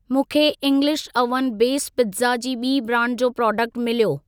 मूंखे English oven base pizza जी ॿीं ब्रांड जो प्रोडक्ट मिलियो।